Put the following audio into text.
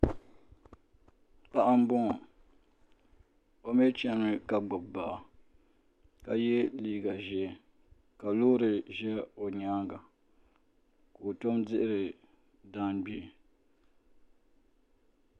Paɣa m boŋɔ o mee chenimi ka gbibi baa ka ye liiga ʒee ka loori ʒɛ o nyaanga ka o tom dihiri jaangbee.